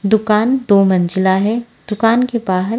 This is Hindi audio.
दुकान दो मज़िला है दुकान के बाहर--